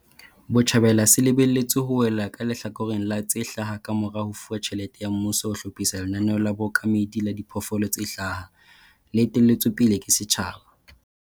Botjhabela se lebe lletswe ho wela ka lehlakoreng la tse hlaha kamora ho fuwa tjhelete ya mmuso ho hlophisa lenaneo la bookamedi la diphoofolo tse hlaha, le etelletsweng pele ke setjhaba.